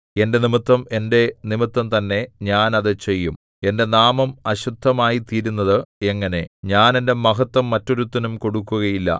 എന്റെ നിമിത്തം എന്റെ നിമിത്തംതന്നെ ഞാൻ അത് ചെയ്യും എന്റെ നാമം അശുദ്ധമായിത്തീരുന്നത് എങ്ങനെ ഞാൻ എന്റെ മഹത്ത്വം മറ്റൊരുത്തനും കൊടുക്കുകയില്ല